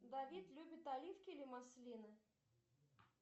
давид любит оливки или маслины